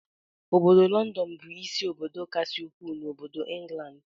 Ọbọdọ London bu ịsị obodo kasị ukwuu n'obodo England.